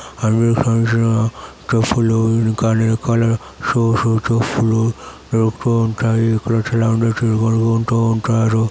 అన్ని సైజు లో చెప్పులు కలర్ కలర్ షోస్ చెప్పులు దొరుకుతూ ఉంటాయిఇక్కడ సెలబ్రెటీలు కూడా కొంటూ ఉంటారు.